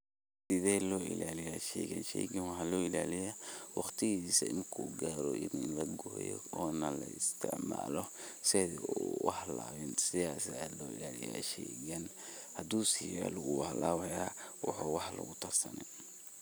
Sidhe lo ilaliya sheygan sheygan waxa lo ilaliya waqtigisa inu kugaro ina logoyo ona laistacmalo sidha uhalabiin sidhad aa lo ilaliya sheygan hadii siyelo wu halabaya waxo wax lugudarsanin.